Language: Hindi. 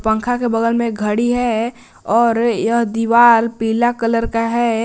पंखा के बगल में घड़ी है और यह दीवार पीला कलर का है।